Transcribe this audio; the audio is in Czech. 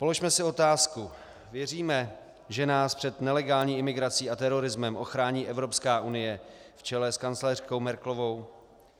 Položme si otázku: Věříme, že nás před nelegální imigrací a terorismem ochrání Evropská unie v čele s kancléřkou Merkelovou?